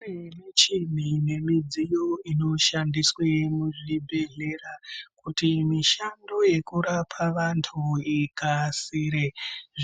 Kune michini nemidziyo inoshandiswe muzvibhedhlera kuti mishando yekurapa vantu ikasire.